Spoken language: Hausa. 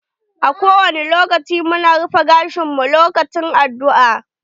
A ko wani lokaci mu na rufe gashin mu lokacin addu'a.